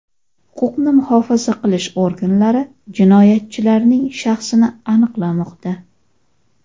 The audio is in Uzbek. Huquqni muhofaza qilish organlari jinoyatchilarning shaxsini aniqlamoqda.